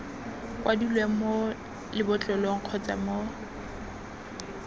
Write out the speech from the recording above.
kwadilweng mo lebotlolong kgotsa mo